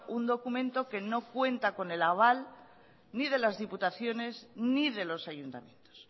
un documento que no cuenta con el aval ni de las diputaciones ni de los ayuntamientos